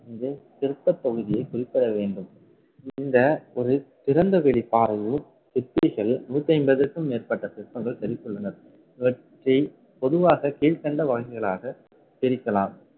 என்றே சிற்ப பகுதியை குறிப்பிட வேண்டும். இந்த ஒரு திறந்த வெளிப்பாறையில், சிற்பிகள் நூத்தி ஐம்பதுக்கும் மேற்பட்ட சிற்பங்கள் செத்துக்கி உள்ளனர். இவற்றை பொதுவாக கீழ்கண்ட வகைகளாக பிரிக்கலாம்